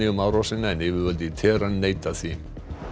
um árásina en yfirvöld í Tehran neita því